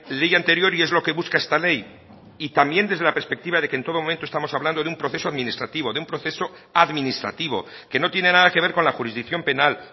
ley anterior y es lo que busca esta ley y también desde la perspectiva de que en todo momento estamos hablando de un proceso administrativo de un proceso administrativo que no tiene nada que ver con la jurisdicción penal